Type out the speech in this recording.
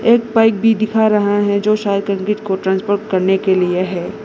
एक पाइप भी दिखा रहा है जो शायद कंक्रीट को ट्रांसफर करने के लिए है।